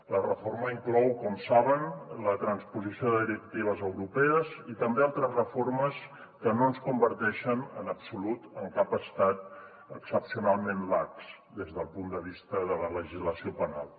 la reforma inclou com saben la transposició de directives europees i també altres reformes que no ens converteixen en absolut en cap estat excepcionalment lax des del punt de vista de la legislació penal